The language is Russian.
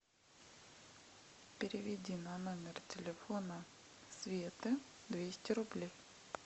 переведи на номер телефона светы двести рублей